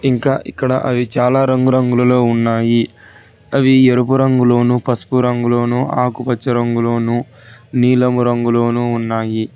ఇంకా ఇక్కడ అవి చాలా రంగురంగుల లో ఉన్నాయి అవి ఎరుపు రంగులోను పసుపు రంగులోను ఆకుపచ్చ రంగులోను నీలం రంగు రంగులను ఉన్నాయి.